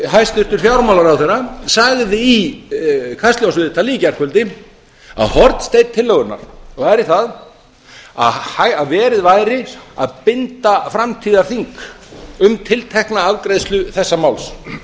hæstvirtur fjármálaráðherrann sagði í kastljósviðtali í gærkvöldi að hornsteinn tillögunnar væri sá að verið væri að binda framtíðarþing um tiltekna afgreiðslu þessa máls